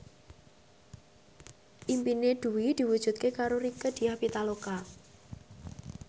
impine Dwi diwujudke karo Rieke Diah Pitaloka